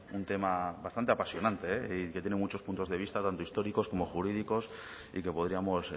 un tema bastante apasionante y que tiene muchos puntos de vista tanto históricos como jurídicos y que podríamos